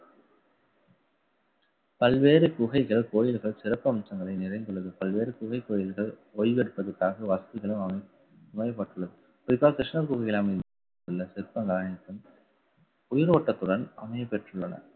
பல்வேறு குகைகள் கோயில்கள் சிறப்பு அம்சங்களை நிறைந்துள்ளது. பல்வேறு குகை கோயில்கள் ஓய்வெடுப்பதற்காக வசதிகளும் அமைக்கப்பட்டுள்ளது. குறிப்பா கிருஷ்ணார் கோவிலில் அமைந்துள்ள சிற்பங்கள் அனைத்தும் உயிரோட்டத்துடன் அமையப்பெற்றுள்ளன